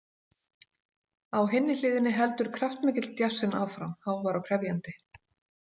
Á hinni hliðinni heldur kraftmikill djassinn áfram, hávær og krefjandi.